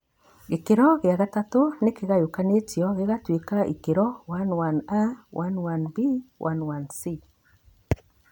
Gĩkĩro gĩa kathatũ nĩ kĩgayũkanĩtio gĩgatuĩka ikĩro IIIA, IIIB na IIIC.